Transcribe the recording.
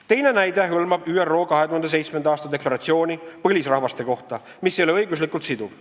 Teine näide hõlmab ÜRO 2007. aasta deklaratsiooni põlisrahvaste kohta, mis ei ole õiguslikult siduv.